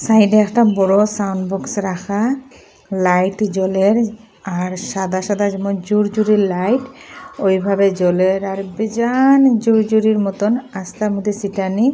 সাইডে একটা বড় সাউন্ড বক্স রাখা লাইট জ্বলের আর সাদা সাদা যেমন জুর জুরে লাইট ওইভাবে জ্বলের আর বিজান জুরি জুরি মতোন আস্তার মধ্যে সিটানি।